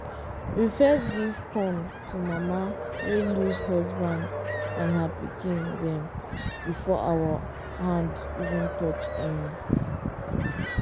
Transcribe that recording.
we first give corn to mama wey lose husband and her pikin dem before our hand even touch any.